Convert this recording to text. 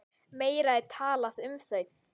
Meira er talað um þau.